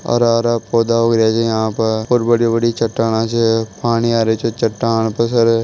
हरा-हरा पौधा उग रहियो छे यहाँ पर और बड़ी-बड़ी चटाने छे पानी आ रहियो छे चटान पे से।